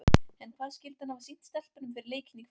En hvað skyldi hann hafa sýnt stelpunum fyrir leikinn í kvöld?